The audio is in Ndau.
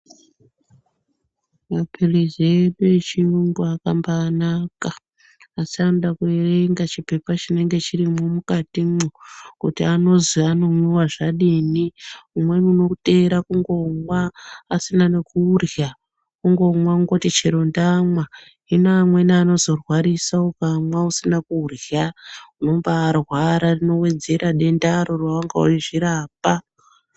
Mapirisi edu echiyungu, akambarenaka asi anoda kuyerengwa chipepa chinenge chirimo mukatimo kuti anozi anomwiwa zvadini. Umweni unotera kungomwa asina nekudya wongonwa, ongoti chero ndanwa, hino amweni anozo rwarisa ukanwa usina kudya wombarwara wowedzera denda rawanga wezvirapa.